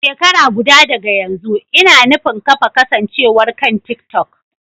Shekara guda daga yanzu, ina nufin kafa kasancewar kan TikTok.